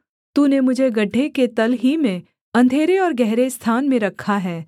तूने मुझे गड्ढे के तल ही में अंधेरे और गहरे स्थान में रखा है